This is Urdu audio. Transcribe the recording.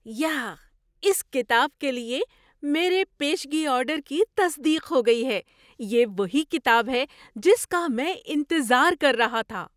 یاااہ! اس کتاب کے لیے میرے پیشگی آرڈر کی تصدیق ہو گئی ہے۔ یہ وہی کتاب ہے جس کا میں انتظار کر رہا تھا۔